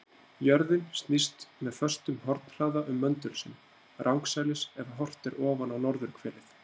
Jörðin snýst með föstum hornhraða um möndul sinn, rangsælis ef horft er ofan á norðurhvelið.